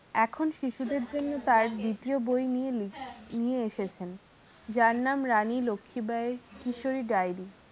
এখন শিশুদের জন্য তার দ্বিতীয় বই নিয়ে নিয়ে এসেছেন যার নাম রানী লক্ষীবাঈ এর কিশোরী diary